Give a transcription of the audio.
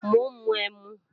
Mò ń mu ẹmu